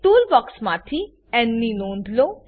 tool box માંથી ન ની નોંધ લો